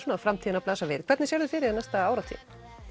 framtíðina blasa við en hvernig sérðu fyrir þér næstu áratugi